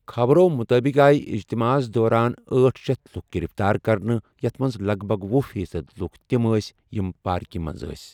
خبرو مُطٲبِق آیہ اِجتِماعس دوران أٹھ شیتھ لُکھ گِرِفتار کرنہٕ ، یَتھ منٛز لگ بگ وُہ فیٖصد لُکھ تِم ٲسۍ یِم پارکہِ منٛز ٲسۍ ۔